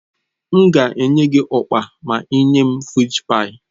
M ga-enye gị ukpa ma ị nye m fịsh páyi.